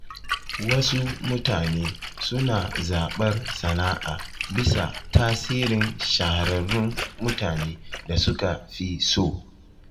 Wasu mutane suna zaɓar sana’a bisa tasirin shahararrun mutane da suka fi so.